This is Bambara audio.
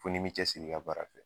Fɔ n'i min cɛsiri ka baara kɛ.